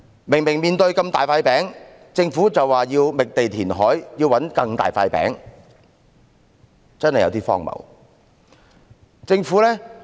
明明眼前有這麼大的一塊"餅"，政府卻說要覓地填海，尋找更大的"餅"，真的有點荒謬。